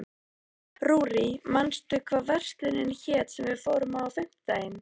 Rúrí, manstu hvað verslunin hét sem við fórum í á fimmtudaginn?